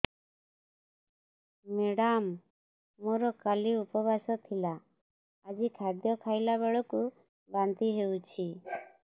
madam ମୋର କାଲି ଉପବାସ ଥିଲା ଆଜି ଖାଦ୍ୟ ଖାଇଲା ବେଳକୁ ବାନ୍ତି ହେଊଛି